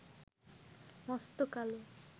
মস্ত কালো